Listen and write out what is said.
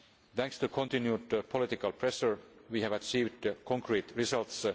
Thanks to continued political pressure we have achieved concrete results.